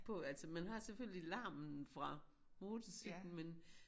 På altså man har selvfølgelig larmen fra motorcyklen men